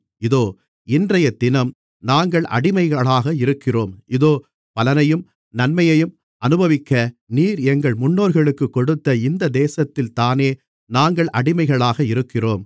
இதோ இன்றையதினம் நாங்கள் அடிமைகளாக இருக்கிறோம் இதோ பலனையும் நன்மையையும் அனுபவிக்க நீர் எங்கள் முன்னோர்களுக்குக் கொடுத்த இந்த தேசத்தில்தானே நாங்கள் அடிமைகளாக இருக்கிறோம்